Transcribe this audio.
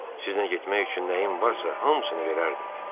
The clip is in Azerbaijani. Sizinlə getmək üçün nəyim varsa hamısını verərdim.